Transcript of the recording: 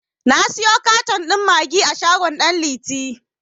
Na siyo katan ɗin maggi a shagon ɗan liti.